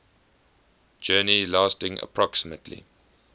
journey lasting approximately